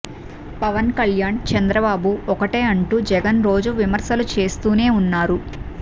పవన్ కళ్యాణ్ చంద్రబాబు ఒక్కటే అంటూ జగన్ రోజు విమర్శలు చేస్తూనే ఉన్నారు